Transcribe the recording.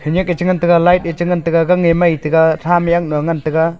nyak e cha ngan taga light e cha ngan taga gang e mai taga tham yanglo ngan taga.